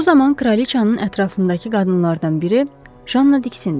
Bu zaman kraliçanın ətrafındakı qadınlardan biri Janna diksindi.